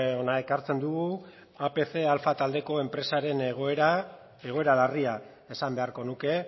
hona ekartzen dugu apc alfa talde enpresaren egoera egoera larria esan beharko nuke